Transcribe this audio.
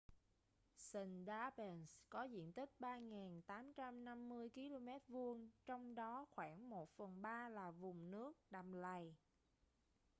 sundarbans có diện tích 3.850 km² trong đó khoảng một phần ba là vùng nước/đầm lầy